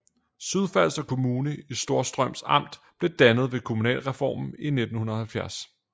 Sydfalster Kommune i Storstrøms Amt blev dannet ved kommunalreformen i 1970